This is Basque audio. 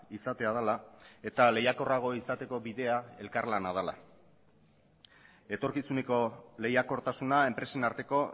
izatea dela eta lehiakorrago izateko bidea elkarlana dela etorkizuneko lehiakortasuna enpresen arteko